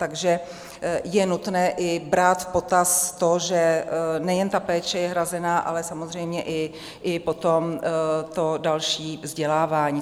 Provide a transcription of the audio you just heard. Takže je nutné brát i v potaz to, že nejen ta péče je hrazena, ale samozřejmě i potom to další vzdělávání.